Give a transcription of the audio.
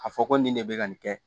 A fɔ ko nin de bɛ ka nin kɛ